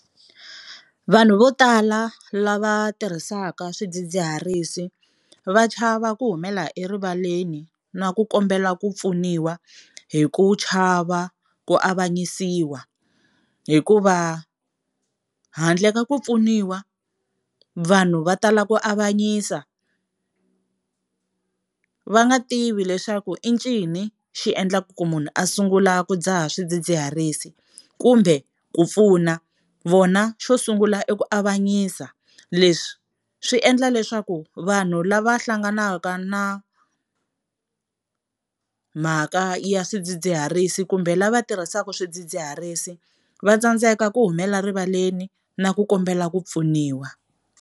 Vanhu vo tala lava tirhisaka swidzidziharisi va chava ku humelela erivaleni na ku kombela ku pfuniwa hi ku chava ku avanyisiwa, hikuva handle ka ku pfuniwa vanhu va tala ku avanyisa va nga tivi leswaku i ncini xi endlaku ku munhu a sungula ku dzaha swidzidziharisi, kumbe ku pfuna. Vona xo sungula i ku avanyisa leswi swi endla leswaku vanhu lava hlanganaka na mhaka ya swidzidziharisi kumbe lava tirhisaka swidzidziharisi va tsandzeka ku humela rivaleni na ku kombela ku pfuniwa.